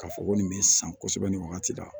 K'a fɔ ko nin bɛ san kosɛbɛ nin wagati la